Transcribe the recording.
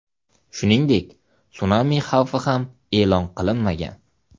Shuningdek sunami xavfi ham e’lon qilinmagan.